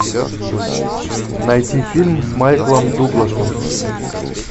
найти фильм с майклом дугласом